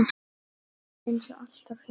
Eins og alltaf hjá þeim.